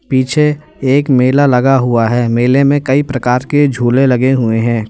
पीछे एक मेला लगा हुआ है मेले में कई प्रकार के झूले लगे हुए हैं।